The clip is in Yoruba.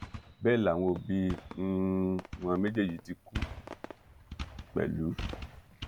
bẹ́ẹ̀ làwọn òbí um wọn méjèèjì ti kú pẹ̀lú